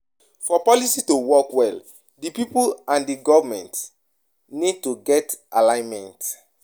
For policy to work well, di pipo and di govement need to get alignment